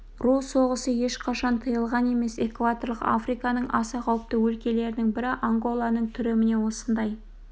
ру соғысы ешқашан тыйылған емес экваторлық африканың аса қауіпті өлкелерінің бірі анголаның түрі міне осындай